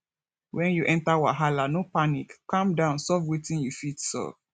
when you enter wahala no panic calm down solve wetin you fit solve